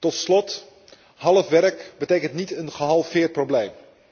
Tot slot, half werk betekent niet een gehalveerd probleem.